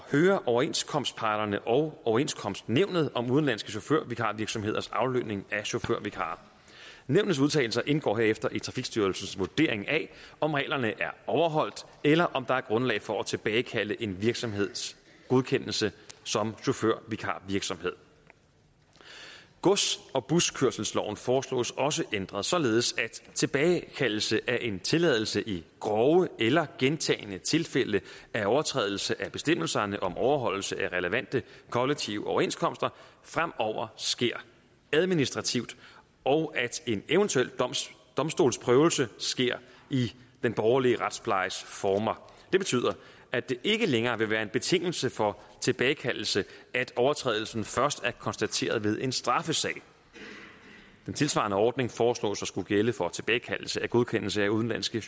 høre overenskomstparterne og overenskomstnævnet om udenlandske chaufførvikarvirksomheders aflønning af chaufførvikarer nævnets udtalelser indgår herefter i trafikstyrelsens vurdering af om reglerne er overholdt eller om der er grundlag for at tilbagekalde en virksomheds godkendelse som chaufførvikarvirksomhed gods og buskørselsloven foreslås også ændret således at tilbagekaldelse af en tilladelse i grove eller gentagne tilfælde af overtrædelse af bestemmelserne om overholdelse af relevante kollektive overenskomster fremover sker administrativt og at en eventuel domstolsprøvelse sker i den borgerlige retsplejes former det betyder at det ikke længere vil være en betingelse for tilbagekaldelse at overtrædelsen først er konstateret ved en straffesag den tilsvarende ordning foreslås at skulle gælde for tilbagekaldelse af godkendelse af udenlandske